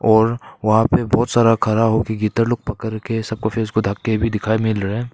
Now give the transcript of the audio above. और वहां पर बहुत सारा खा रहा हूं कि गीतार पकड़ के सबको फेस को ढक भी दिखाएं मिल रहे हैं।